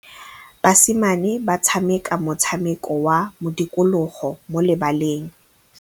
Basimane ba tshameka motshameko wa modikologô mo lebaleng.